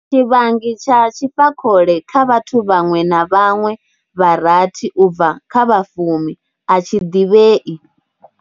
Tshivhangi tsha tshifakhole kha vhathu vhaṅwe na vhaṅwe vha rathi u bva kha vha fumi a tshi ḓivhei.